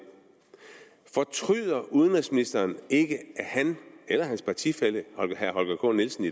fortryder udenrigsministeren i ikke at han eller hans partifælle herre holger k nielsen